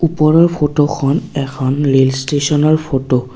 ওপৰৰ ফটোখন এখন ৰেল ষ্টেচনৰ ফটো ।